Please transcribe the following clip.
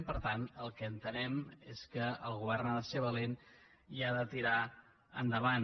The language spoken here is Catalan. i per tant el que entenem és que el govern ha de ser valent i ha de tirar endavant